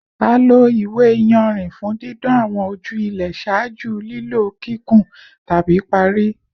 A lo iwe-iyanrin fun didan awọn oju ilẹ ṣaaju lilo kikun tabi pari